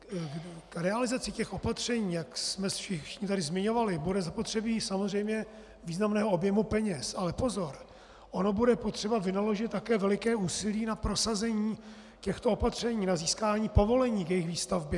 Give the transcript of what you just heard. K realizaci těch opatření, jak jsme všichni tady zmiňovali, bude zapotřebí samozřejmě významného objemu peněz, ale pozor, ono bude potřeba vynaložit také veliké úsilí na prosazení těchto opatření, na získání povolení k jejich výstavbě.